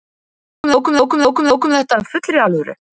Við tókum þetta af fullri alvöru.